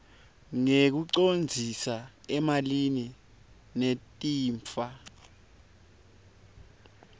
ngekucondzisa emalini lechitfwa